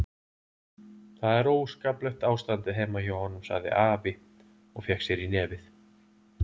Það er óskaplegt ástandið heima hjá honum, sagði afi og fékk sér í nefið.